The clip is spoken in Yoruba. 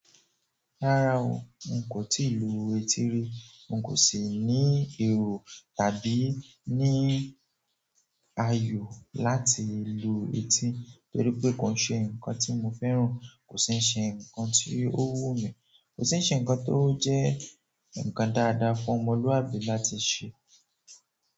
Rárá o, n kò tíì lu etí rí, n kò sì ní èrò tàbí ní ayò láti lo etí, torí pé kò ṣe ǹkan tí mo fẹ́ràn, kò sì ṣe ǹkan tí ó wù mí, kò sì ṣe ǹkan tó jẹ́ ǹkan dáadáa fún ọmọlúàbí láti ṣe.